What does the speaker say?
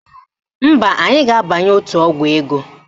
Mba, anyị ga-abanye otu ọgwụ ego